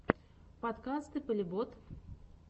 подкаст и полебот